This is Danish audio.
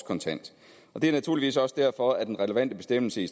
kontant det er naturligvis også derfor den relevante bestemmelse i